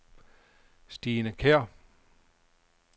Stine Kjær